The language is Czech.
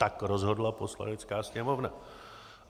Tak rozhodla Poslanecká sněmovna.